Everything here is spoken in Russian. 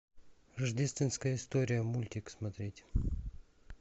рождественская история мультик смотреть